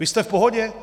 Vy jste v pohodě?